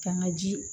Kanga ji